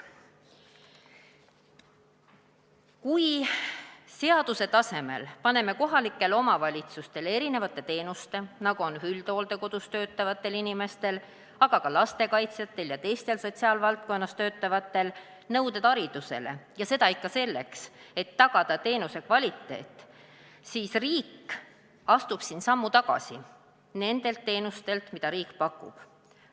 " Kui me seaduse tasemel paneme kohalikele omavalitsustele erinevate teenuste, nagu on üldhooldekodus töötavate inimeste, aga ka lastekaitsjate ja teiste sotsiaalvaldkonnas töötajate nõuded haridusele, ja seda ikka selleks, et tagada teenuse kvaliteet, siis riik astub siin sammu tagasi nende teenuste puhul, mida ta ise pakub.